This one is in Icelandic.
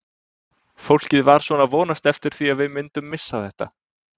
Fólk var svona að vonast eftir því að við myndum missa þetta.